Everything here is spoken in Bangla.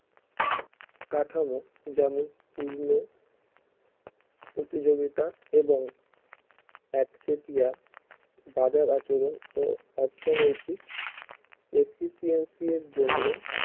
কাঠামো যেমন পূর্ণ প্রতিযোগিতা এবং একচেটিয়া বাজার আচরণ ও অর্থনৈতিক efficiency এর জন্য